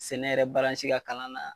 Sɛnɛ yɛrɛ baransi ka kalan na.